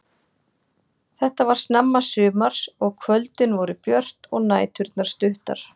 Þetta var snemma sumars og kvöldin voru björt og næturnar stuttar.